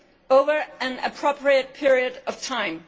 over an appropriate period of time.